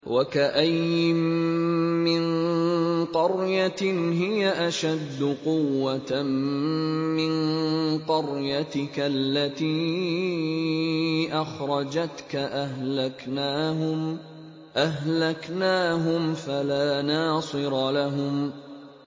وَكَأَيِّن مِّن قَرْيَةٍ هِيَ أَشَدُّ قُوَّةً مِّن قَرْيَتِكَ الَّتِي أَخْرَجَتْكَ أَهْلَكْنَاهُمْ فَلَا نَاصِرَ لَهُمْ